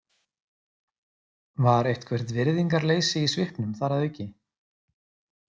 Var eitthvert virðingarleysi í svipnum þar að auki?